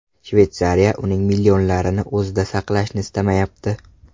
Shveysariya uning millionlarini o‘zida saqlashni istamayapti.